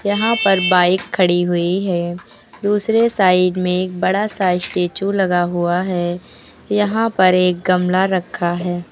यहां पर बाइक खड़ी हुई है दूसरे साइड में एक बड़ा सा स्टैचू लगा हुआ है यहां पर एक गमला रखा है।